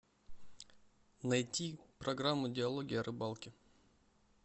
найти программу диалоги о рыбалке